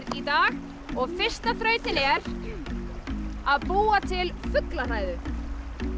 í dag og fyrsta þrautin er að búa til fuglahræðu